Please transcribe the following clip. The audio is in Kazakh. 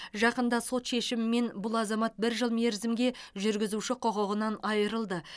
жақында сот шешімімен бұл азамат бір жыл мерзімге жүргізуші құқығынан айырылды